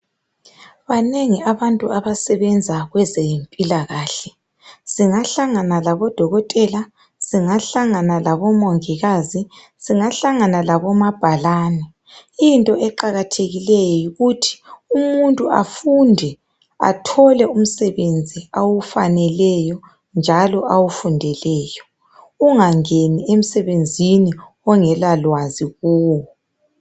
Banengi abantu abasebenza kwezempilakahle singahlangana labodokotela, singahlangana labomongikazi, singahlangana labomabhalane. Into eqakathekileyo yikuthi umuntu akwazi afunde athole umsebenzi awufaneleyo njalo awufundeleyo. Ungangeni emsebenzini ongelalwazi kuwo.